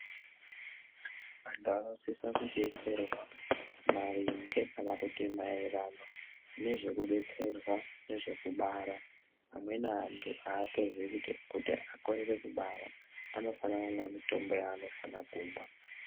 Vantu vanosisa kudetserwa marimge kana kuti mairirano nezvekudetserwa nezvekubara vamweni vantu hatozii kuti akorere kubara vanofanirwa kumwa mutombo wavano fana kumwa.